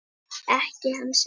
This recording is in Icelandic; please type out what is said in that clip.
Ekki hans eigin.